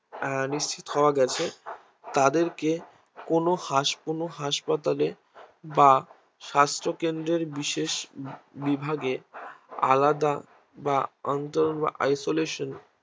আহ নিশ্চিত হওয়া গেছে তাদেরকে কোনো হাস কোনো হাসপাতালে বা স্বাস্থ্য কেন্দ্রের বিশেষ বিভাগে আলাদা বা অন্তরন বা Isolation